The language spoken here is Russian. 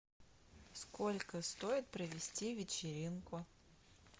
сколько стоит провести вечеринку